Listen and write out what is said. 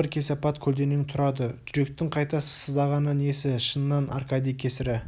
бір кесапат көлденең тұрады жүректің қайта сыздағаны несі шыннан аркадий кесірі